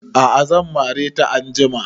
A'a zan mare ta anjima